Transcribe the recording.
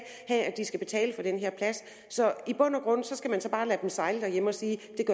have at de skal betale for den her plads så i bund og grund skal man bare lade dem sejle derhjemme og sige